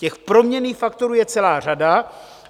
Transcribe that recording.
Těch proměnných faktorů je celá řada.